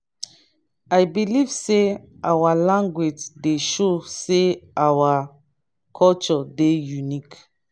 i believe sey our language dey show sey our culture dey unique.